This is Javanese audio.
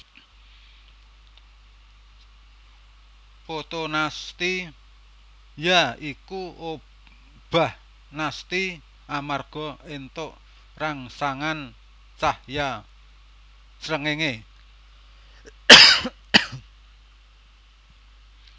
Fotonasti ya iku obah nasti amarga éntuk rangsangan cahya srengenge